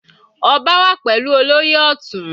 Ọba wà pẹ̀lú olóyè Ọtun.